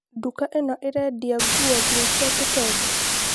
Duka ĩno ĩrendia nguo nginya cia kitenge?